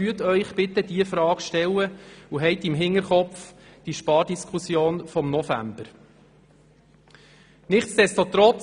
Stellen Sie sich bitte diese Frage und behalten Sie dabei die bevorstehende Spardiskussion vom November im Hinterkopf.